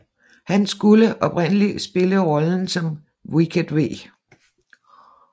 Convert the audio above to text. Han skulle oprindelig spille rollen som Wicket W